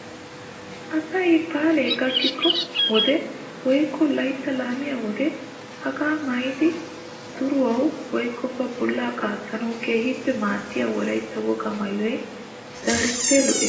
Asay baalay gakkiyoo wode woykko layttaa laamiyaa wode hagaa maayidi duriyoo woykko ba bollaa qaattanawu keehippe maaddiyaa wolaytta wogaa maayoy darippe lo"ees!